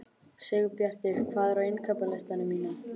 Sigurbjartur, hvað er á innkaupalistanum mínum?